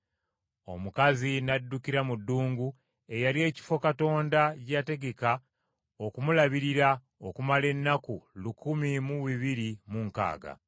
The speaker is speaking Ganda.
Omukazi n’addukira mu ddungu eyali ekifo Katonda gye yategeka okumulabirira okumala ennaku Lukumi mu bibiri mu nkaaga.